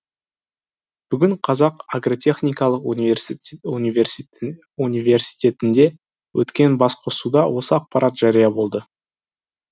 бүгін қазақ агротехникалық университетінде өткен басқосуда осы ақпарат жария болды